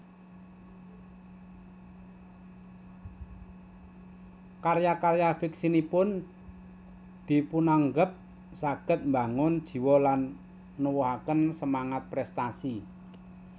Karya karya fiksinipun dipunanggep saged mbangun jiwa lan nuwuhaken semangat prèstasi